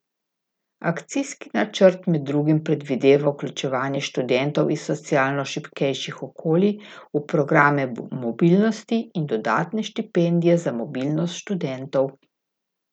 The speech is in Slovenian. Akcijski načrt med drugim predvideva vključevanje študentov iz socialno šibkejših okolji v programe mobilnosti in dodatne štipendije za mobilnost študentov.